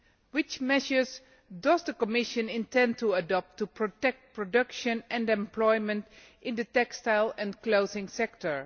What measures does the Commission intend to adopt to protect production and employment in the textile and clothing sector?